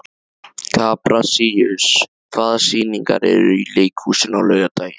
Kaprasíus, hvaða sýningar eru í leikhúsinu á laugardaginn?